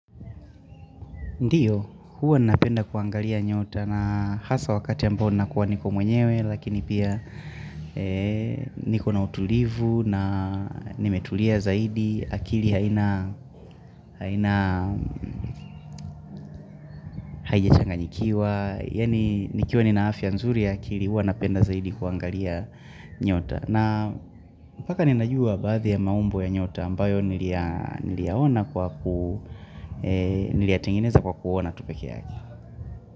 Ndio, huwa napenda kuangalia nyota na hasa wakati ambao nakuwa niko mwenyewe lakini pia niko na utulivu na nimetulia zaidi, akili haina haijachanganyikiwa, yaani nikiwa nina afia nzuri ya akili huwa napenda zaidi kuangalia nyota. Na paka ninajua baadhi ya maumbo ya nyota ambayo niliyaona kwa ku, niliyaetengeneza kwa kuona tu pekee yake.